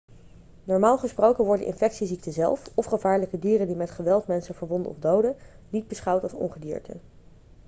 normaal gesproken worden infectieziekten zelf of gevaarlijke dieren die met geweld mensen verwonden of doden niet beschouwd als ongedierte